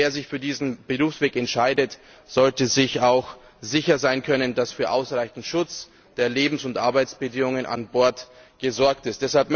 Und wer sich für diesen Berufsweg entscheidet, sollte sich auch sicher sein können, dass für ausreichend Schutz der Lebens und Arbeitsbedingungen an Bord gesorgt ist.